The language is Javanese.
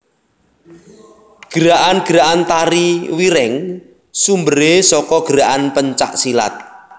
Gerakan gerakan Tari Wireng sumberé saka gerakan pencak silat